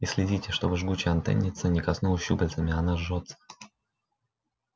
и следите чтобы жгучая антенница не коснулась щупальцами она жжётся